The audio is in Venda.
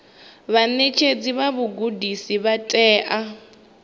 vhaṋetshedzi vha vhugudisi vha tea